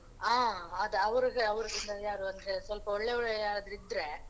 ಹಾ ಅದ್ ಅವ್ರಿಗೆ ಅವ್ರು ಅಂದ್ರೆ ಸ್ವಲ್ಪ ಒಳ್ಳೆ ಒಳ್ಳೆಯವ್ರು ಯಾರಾದ್ರು ಇದ್ರೆ.